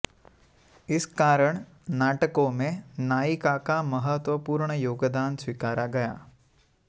इस कारण नाटकों में नायिका का महत्वपूर्ण योगदान स्वीकारा गया